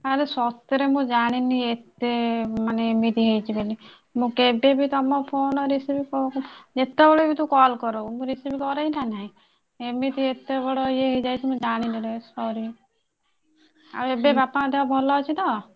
ଆରେ ସତରେ ମୁଁ ଜାଣିନୀ ଏତେ ମାନେ ଏମିତି ହେଇଛି ବୋଲି ମୁଁ କେବେ ବି ତମ ଫୋନ receive ଯେତେବେଳେ ତୁ call କରଉ ମୁଁ receive କରେଇ ନା ନାହି ଏମିତି ଏତେ ବଡ ଇଏ ହେଇଯାଇଛି ମୁଁ ଜାଣିନି ରେ sorry ଆଉ ଏବେ ବାପାଙ୍କ ଦେହ ଭଲ ଅଛି ତ।